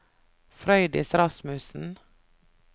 Frøydis Rasmussen